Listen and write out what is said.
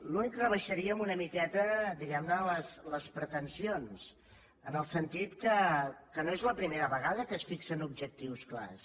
l’únic és que rebaixaríem una miqueta diguem ne les pretensions en el sentit que no és la primera vegada que es fixen objectius clars